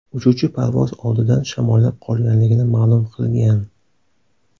Uchuvchi parvoz oldidan shamollab qolganligini ma’lum qilgan.